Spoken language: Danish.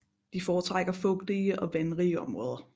De foretrækker fugtige og vandrige områder